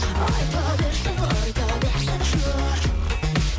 айта берсін айта берсін жұрт